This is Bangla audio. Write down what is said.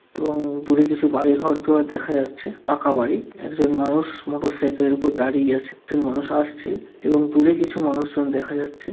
এবং দূরে কিছু বাড়ি ঘড় দুয়ার দেখা যাচ্ছে পাকা বাড়ি। একজন মানুষ মোটর সাইকেল এর উপর দাঁড়িয়ে আছে। একজন মানুষ আসছে এবং দূরে কিছু মানুষজন দেখা যাছে।